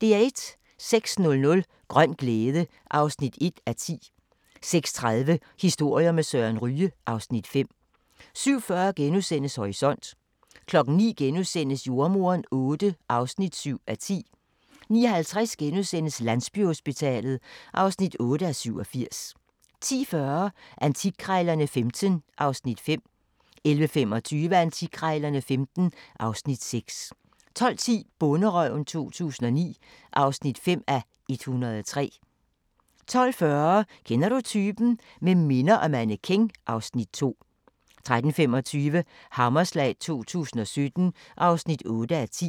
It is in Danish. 06:00: Grøn glæde (1:10) 06:30: Historier med Søren Ryge (Afs. 5) 07:40: Horisont * 09:00: Jordemoderen VIII (7:10)* 09:50: Landsbyhospitalet (8:87)* 10:40: Antikkrejlerne XV (Afs. 5) 11:25: Antikkrejlerne XV (Afs. 6) 12:10: Bonderøven 2009 (5:103) 12:40: Kender du typen? – Med minder og mannequin (Afs. 2) 13:25: Hammerslag 2017 (8:10)